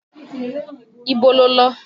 Ibo lo lọ?